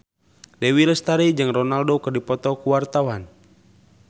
Dewi Lestari jeung Ronaldo keur dipoto ku wartawan